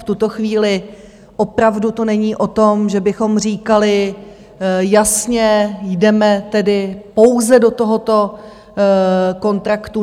V tuto chvíli opravdu to není o tom, že bychom říkali jasně, jdeme tedy pouze do tohoto kontraktu.